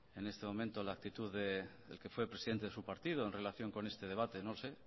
en este momento la actitud del que fue presidente de su partido en relación con este debate no lo sé